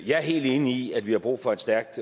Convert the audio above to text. jeg er helt enig i at vi har brug for et stærkt